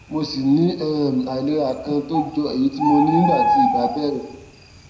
mo ṣì ní um àìlera kan tó jọ èyí tí mo ní nígbà tí ibà bẹrẹ